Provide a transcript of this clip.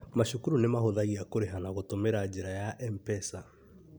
Macukuru nĩ mahũthagia kũriha na gũtũmira njĩra ya MPESA